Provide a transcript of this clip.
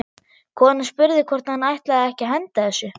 Konan spurði hvort hann ætlaði ekki að henda þessu.